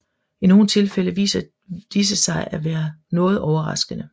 I nogle tilfælde viser disse sig at være noget overraskende